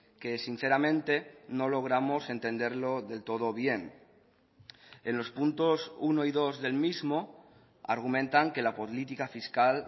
que sinceramente no logramos entenderlo del todo bien en los puntos uno y dos del mismo argumentan que la política fiscal